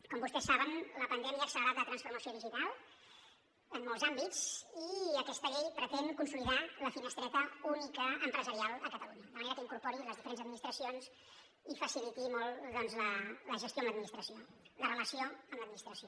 com vostès saben la pandèmia ha accelerat la transformació digital en molts àmbits i aquesta llei pretén consolidar la finestreta única empresarial a catalunya de manera que incorpori les diferents administracions i faciliti molt doncs la gestió amb l’administració la relació amb l’administració